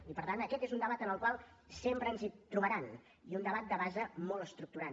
i per tant aquest és un debat en el qual sempre ens trobaran i un debat de base molt estructurant